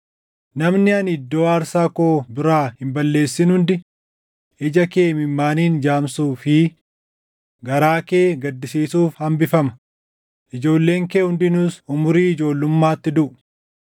Namni ani iddoo aarsaa koo biraa hin balleessin hundi ija kee imimmaaniin jaamsuu fi garaa kee gaddisiisuuf hambifama; ijoolleen kee hundinuus umurii ijoollummaatti duʼu.